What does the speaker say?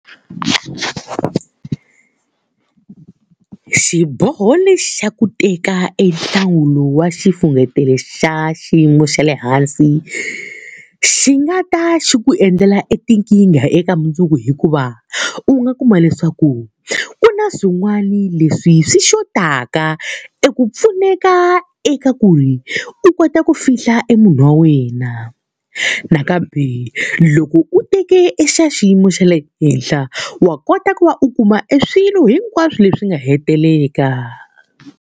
Xiboho lexi ku teka e lowu wa xifunengeto xa xiyimo xa le hansi, xi nga ta xi ku endlela e tinkingha eka mundzuku hikuva u nga kuma leswaku ku na swin'wana leswi swi xotaka eku pfuneka eka ku ri u kota ku fihla e munhu wa wena. Nakambe loko u teke e xa xiyimo xa le henhla, wa kota ku va u kuma e swilo hinkwaswo leswi nga hetiseka.